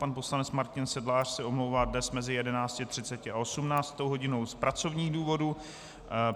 Pan poslanec Martin Sedlář se omlouvá dnes mezi 11.30 a 18. hodinou z pracovních důvodů.